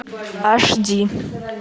аш ди